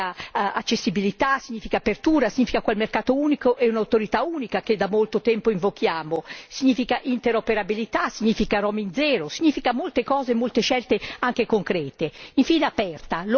Connessa significa accessibilità, significa apertura, significa quel mercato unico e un'autorità unica che da molto tempo invochiamo, significa interoperabilità, significa roaming zero, significa molte cose e molte scelte anche concrete.